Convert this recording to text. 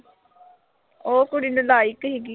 ਉਹ ਕੁੜੀ ਨਲਾਇਕ ਸੀਗੀ।